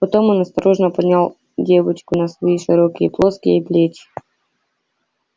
потом он осторожно поднял девочку на свои широкие плоские плечи